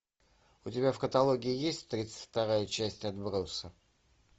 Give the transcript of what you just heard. у тебя в каталоге есть тридцать вторая часть отбросов